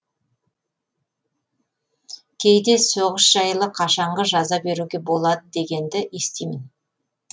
кейде соғыс жайлы қашанғы жаза беруге болады дегенді естимін